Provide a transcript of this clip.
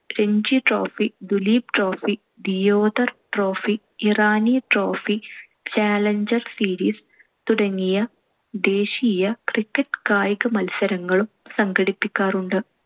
Ranji trophy, Duleep trophy, Deodhar trophy, Irani trophy, challenger series തുടങ്ങിയ ദേശീയ cricket കായിക മത്സരങ്ങളും സംഘടിപ്പിക്കാറുണ്ട്.